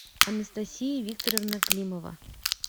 анастасия викторовна климова